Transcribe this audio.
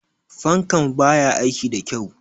Fankan ba ya aiki da kyau.